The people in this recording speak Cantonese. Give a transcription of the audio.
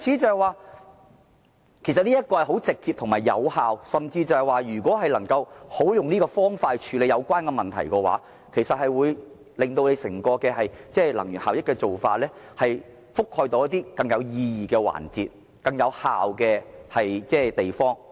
這是直接和有效的方法，教育市民好好處理用電相關問題，有助提升整體能源效益，將電力應用到更有意義的環節及更有效的地方。